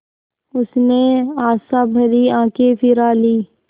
उसने आशाभरी आँखें फिरा लीं